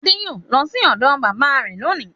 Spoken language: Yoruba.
Adé yóò lọ sí ọ̀dọ̀ bábà rẹ̀ lónìí.